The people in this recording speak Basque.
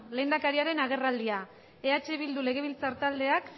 lehendakariaren agerraldia eh bildu legebiltzar taldeak